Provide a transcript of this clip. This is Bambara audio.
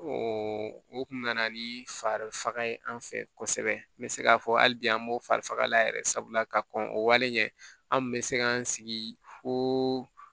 o kun nana ni fari faga ye an fɛ kosɛbɛ n be se k'a fɔ hali bi an b'o fari faga la yɛrɛ sabula ka kɔn o wale ɲɛ an kun bɛ se k'an sigi fo